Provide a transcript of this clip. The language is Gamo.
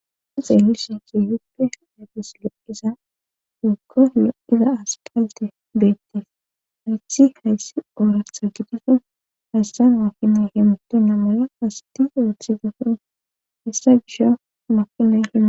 si xeelisi ti huppe afes lo7iza dokko yo7iza asqalte beettes hayti hayssi ooratha gidiso haystan wa finay hemto namola asti oothi gefoo hissa gisho makila hima